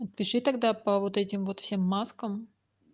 пиши тогда по вот этим вот всем маскам